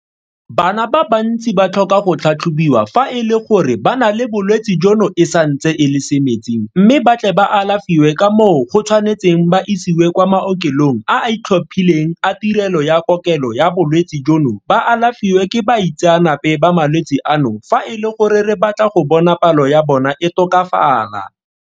Bana ba bantsi ba tlhoka go tlhatlhobiwa fa e le gore ba na le bolwetse jono e santse e le semetsing mme ba tle ba alafiwe ka moo go tshwanetseng ba isiwe kwa maokelong a a itlhophileng a tirelo ya kokelo ya bolwetse jono ba alafiwe ke baitseanape ba malwetse ano fa e le gore re batla go bona palo ya bona e tokafala.